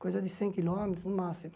Coisa de cem quilômetros, no máximo.